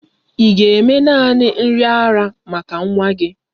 Ị ga-eme nanị nri ara maka nwa gị?